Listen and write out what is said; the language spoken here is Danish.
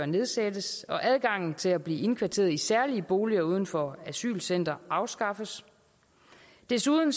nedsættes og adgangen til at blive indkvarteret i særlige boliger uden for asylcentre afskaffes desuden